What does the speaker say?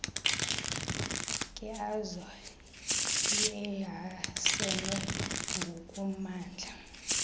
nkeazo iehasene ngokumandla